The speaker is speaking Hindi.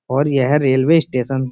और यह रेलवे स्टेशन --